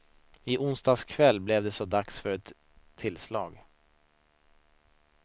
I onsdags kväll blev det så dags för ett tillslag.